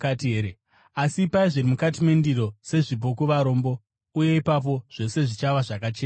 Asi ipai zviri mukati mendiro sezvipo kuvarombo, uye ipapo zvose zvichava zvakachena kwamuri.